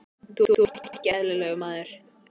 Þú ert nú ekki eðlilegur, maður!